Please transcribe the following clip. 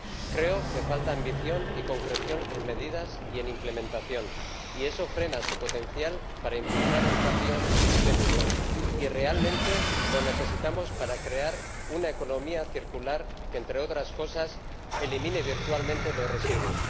Creo que falta ambición y concreción en medidas y en implementación, y eso frena su potencial para impulsar un cambio sistémico, y realmente lo necesitamos para crear una economía circular que, entre otras cosas, elimine virtualmente los residuos.